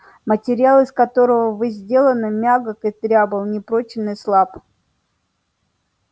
материал из которого вы сделаны мягок и дрябл непрочен и слаб